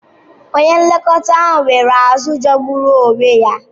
Onye nlekọta ahụ nyere azụ̀ jọgburu onwe ya.